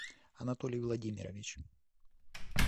анатолий владимирович